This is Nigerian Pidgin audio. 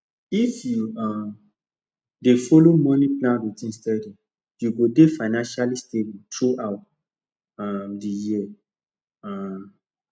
if you um dey follow money plan routine steady you go dey financially stable throughout um the year um